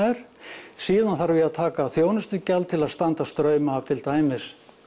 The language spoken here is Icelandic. er síðan þarf ég að taka þjónustugjald til að standa straum af til dæmis